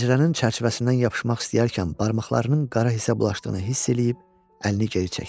Pəncərənin çərçivəsindən yapışmaq istəyərkən barmaqlarının qara hissə bulaşdığını hiss eləyib əlini geri çəkdi.